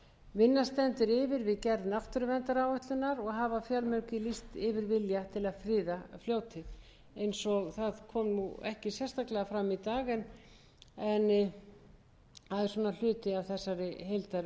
vinna stendur yfir við gerð náttúruverndaráætlunar og hafa fjölmargir lýst yfir vilja til að friða fljótið það kom ekki sérstaklega fram í dag en það er hluti af þessari heildarvinnu sem verið er að vinna fyrir skemmstu var stofnaður áhugahópur